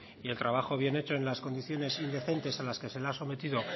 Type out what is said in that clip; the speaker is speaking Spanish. y el trabajo bien hecho en las condiciones indecentes a las que se ha sometido